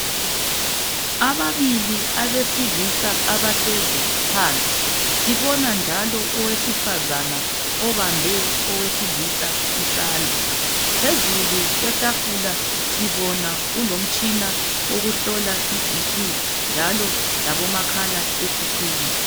Ababili abesilisa abahlezi phansi sibona njalo owesifazana obambe owesilisa isandla phezulu kwetafula sibona kulomtshina wokuhlola i"BP"njalo labo makhalekhukhwini.